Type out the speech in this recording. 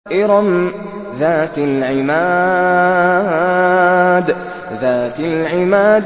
إِرَمَ ذَاتِ الْعِمَادِ